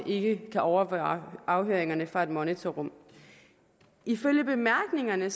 ikke kan overvære afhøringerne fra et monitorrum ifølge bemærkningerne